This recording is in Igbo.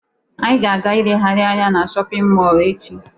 Anyị ga-aga ilegharị anya na shọpịn mọọlụ echi.